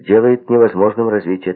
делает невозможным развитие